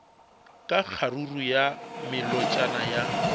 ka kgaruru ya melotšana ya